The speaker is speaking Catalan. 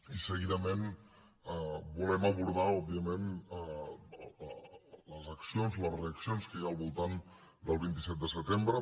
i seguidament volem abordar òbviament les accions les reaccions que hi ha al voltant del vint set de setembre